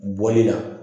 Bɔli la